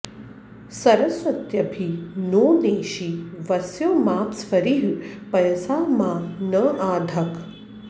सरस्वत्यभि नो नेषि वस्यो माप स्फरीः पयसा मा न आ धक्